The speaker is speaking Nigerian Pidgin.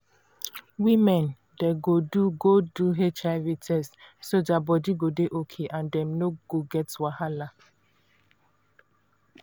women dey go do go do hiv test regular so their body go dey okay and dem no go get wahala